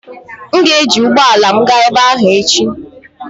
M ga-eji ụgbọ ala m gaa ebe ahụ echi.